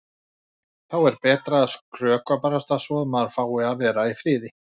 Þá er betra að skrökva barasta svo að maður fái að vera í friði.